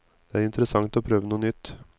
Det er interessant å prøve noe nytt.